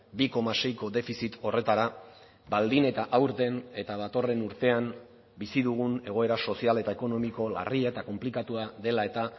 bi koma seiko defizit horretara baldin eta aurten eta datorren urtean bizi dugun egoera sozial eta ekonomiko larria eta konplikatua dela eta